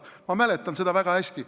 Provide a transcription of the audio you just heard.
Ma mäletan seda väga hästi.